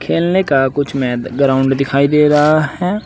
खेलने का कुछ में ग्राउंड दिखाई दे रहा हैं।